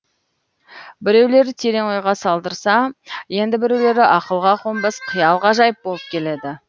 біреулері терең ойға салдырса енді біреулері ақылға қонбас қиял ғажайып болып келеді